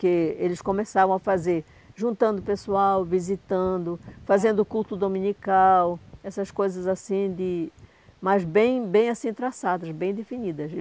porque eles começavam a fazer juntando pessoal, visitando, fazendo culto dominical, essas coisas assim de, mas bem bem assim traçadas, bem definidas.